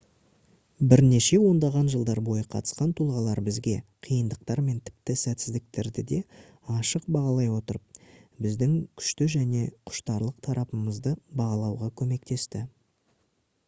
бірнеше ондаған жылдар бойы қатысқан тұлғалар бізге қиындықтар мен тіпті сәтсіздіктерді де ашық бағалай отырып біздің күшті және құштарлық тараптарымызды бағалауға көмектесті